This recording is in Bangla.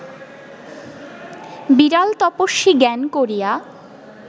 বিড়াল তপস্বী জ্ঞান করিয়া